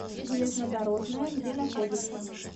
железнодорожная где находится